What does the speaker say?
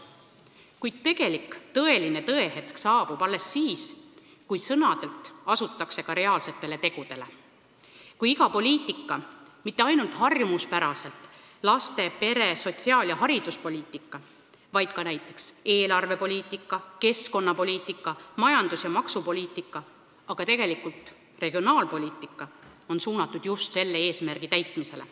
Kuid tõehetk saabub alles siis, kui sõnadelt asutakse ka reaalsetele tegudele: kui iga poliitika, mitte ainult harjumuspäraselt laste-, pere-, sotsiaal- ja hariduspoliitika, vaid ka näiteks eelarvepoliitika, keskkonnapoliitika, majandus- ja maksupoliitika ning regionaalpoliitika on suunatud just selle eesmärgi täitmisele.